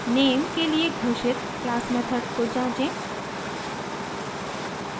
name के लिए घोषित क्लास मेथड को जाँचें